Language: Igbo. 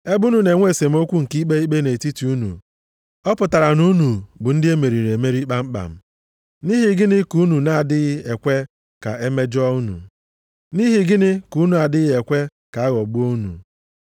Ebe unu na-enwe esemokwu nke ikpe ikpe nʼetiti unu, ọ pụtara na unu bụ ndị emeriri kpamkpam. Nʼihi gịnị ka unu na-adịghị ekwe ka emejọ unu? Nʼihi gịnị ka unu na-adịghị ekwe ka a ghọgbuo unu?